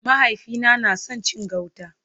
Mahaifina na son cin gauta.